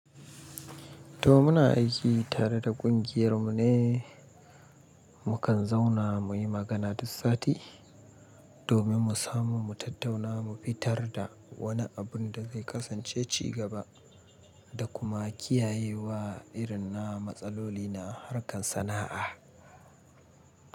To muna aiki tare da kungiyar mu ne, mu kan zauna mu yi magana duk sati domin mu samu mu tattauna mu fitar da wani abin da zai kasance ci gaba da kuma kiyaye wa irin na matsaloli na harkar sana'a.